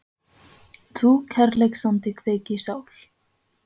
þú kærleiksandi kveik í sál